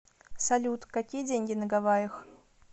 салют какие деньги на гавайях